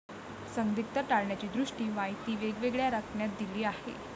संदिग्धता टाळण्याच्या दृष्टीने माहिती वेगवेगळ्या रकान्यात दिली आहे.